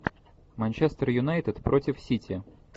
манчестер юнайтед против сити